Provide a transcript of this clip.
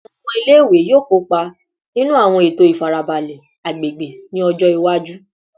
Awọn ọmọ ile-iwe yoo kopa ninu awọn eto ifarabalẹ agbegbe ni ọjọ iwaju